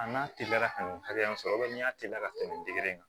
A n'a teliyara ka nin hakɛ sɔrɔ n'i y'a teliya ka tɛmɛ nin kan